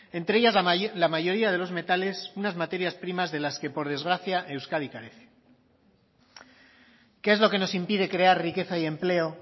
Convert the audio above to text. entre ellas la mayoría de los metales unas materias primas de las que por desgracia euskadi carece qué es lo que nos impide crear riqueza y empleo